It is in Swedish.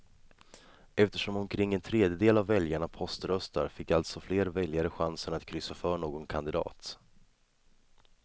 Eftersom omkring en tredjedel av väljarna poströstar fick alltså fler väljare chansen att kryssa för någon kandidat.